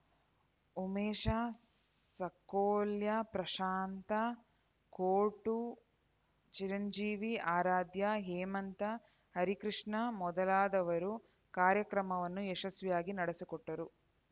ಉಮೇಶ ಸಾಕೋಲ್ರ್ಕ ಪ್ರಶಾಂತ ಕೋರ್ಟೂ ಚಿರಂಜೀವಿ ಆರಾಧ್ಯ ಹೇಮಂತ ಹರಿಕೃಷ್ಣ ಮೊದಲಾದವರು ಕಾರ್ಯಕ್ರಮವನ್ನು ಯಶಸ್ವಿಯಾಗಿ ನಡೆಸಿಕೊಟ್ಟರು